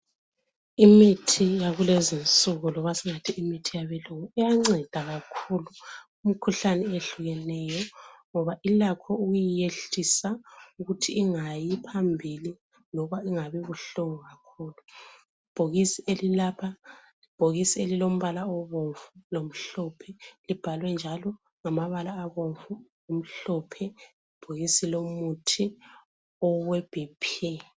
Imithi yakulezinsuku lobasingathi imithi yabelungu iyanceda kakhulu imikhuhlane eyehlukeneyo ngoba ilakho ukuyiyehlisa ukuthi ingayi phambili loba ingabi buhlungu kakhulu. Ibhokisi elilapha libhokisi elilombala obombu lomhlophe libhalwe njalo ngamabala abomvu lamhlophe, libhokisi lomuthi owe bhiphi.